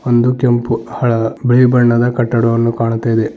ಒಂದು ಕೆಂಪು ಹಳ ಬಿಳಿ ಬಣ್ಣದ ಕಟ್ಟಡವನ್ನು ಕಾಣ್ತಾ ಇದೆ.